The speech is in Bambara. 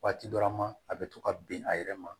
Waati dɔ la ma a bɛ to ka bin a yɛrɛ ma